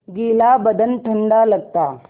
गीला बदन ठंडा लगता